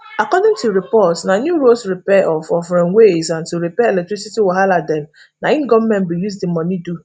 according to reports na new roads repair of of railways and to repair electricity wahala dem na im goment bin use di money do